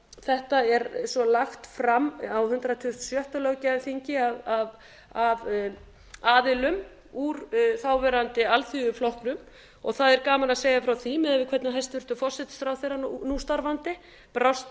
þetta er lagt fram á hundrað tuttugasta og sjötta löggjafarþingi af aðilum úr þáverandi alþyðuflokknum og það er gaman að segja frá því miðað við hvernig hæstvirtur forsætisráðherra nú starfandi brást